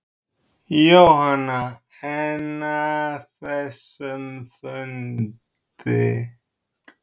Jóhanna: En að þessum fundi.